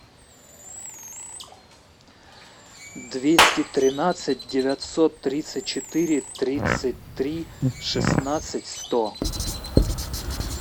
двести тринадцать девятьсот тридцать четыре тридцать три шестнадцать сто